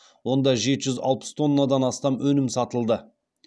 онда жеті жүз алпыс тоннадан астам өнім сатылды